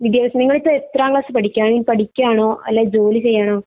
വിദ്യാഭ്യാസം നിങ്ങൾ ഇപ്പൊ ഇത്തരം ക്ലാസ് പഠിക്കാണ് പഠിക്കാണോ അല്ലെ ജോലി ചെയ്യാണോ